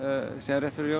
rétt fyrir jól